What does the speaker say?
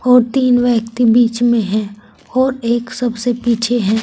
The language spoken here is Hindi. और तीन व्यक्ति बीच में हैं और एक सबसे पीछे है।